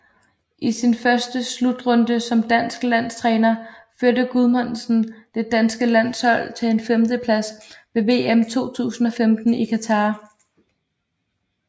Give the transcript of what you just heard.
I sin første slutrunde som dansk landstræner førte Guðmundsson det danske landshold til en femteplads ved VM 2015 i Qatar